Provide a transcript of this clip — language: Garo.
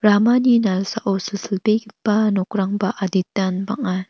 ramani nalsao silsilbegipa nokrangba aditan bang·a.